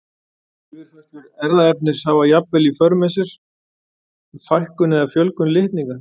Yfirfærslur erfðaefnis hafa jafnvel í för með sér fækkun eða fjölgun litninga.